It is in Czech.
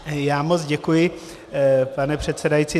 Já moc děkuji, pane předsedající.